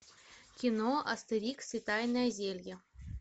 кино астерикс и тайное зелье